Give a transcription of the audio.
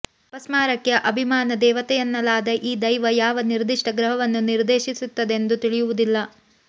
ಅಪಸ್ಮಾರಕ್ಕೆ ಅಭಿಮಾನ ದೇವತೆಯೆನ್ನಲಾದ ಈ ದೈವ ಯಾವ ನಿರ್ದಿಷ್ಟ ಗ್ರಹವನ್ನು ನಿರ್ದೇಶಿಸುತ್ತದೆಂದು ತಿಳಿಯುವುದಿಲ್ಲ